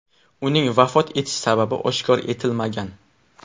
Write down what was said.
Uning vafot etish sababi oshkor etilmagan.